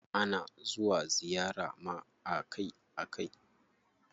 Ana zuwa ziyara ma akai akai.